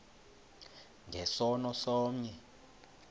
nge sono somnye